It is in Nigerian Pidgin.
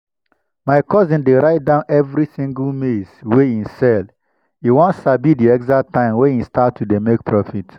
my cousin dey write down every single maize wey e sell e wan sabi the exact time wey e start to dey make profit.